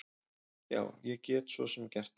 Já, ég get svo sem gert það.